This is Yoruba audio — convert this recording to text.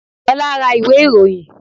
Olá ra ìwé ìròyìn